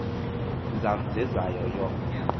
zam zezayo yof